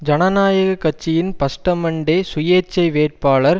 ஜனநாயக கட்சியின் பஸ்டமன்டே சுயேச்சை வேட்பாளர்